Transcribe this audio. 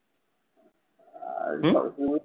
হম?